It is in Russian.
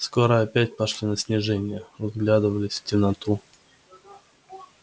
скоро опять пошли на снижение вглядывались в темноту